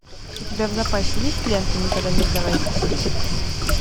у тебя в запасе есть лента никогда не сдавайся три